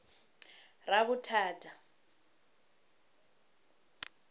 ravhuthata